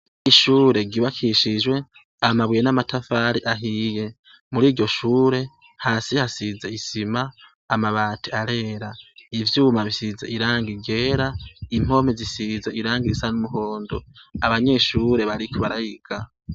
Ishure ryubakishijwe amabuye n'amatafari ahiye, muriryo shure hasi hasize isima, amabati arera, ivyuma bisize irangi ryera, impome zisize irangi risa n'umuhondo, abanyeshure bariko bariga.